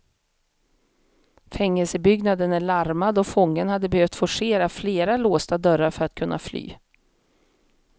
Fängelsebyggnaden är larmad och fången hade behövt forcera flera låsta dörrar för att kunna fly.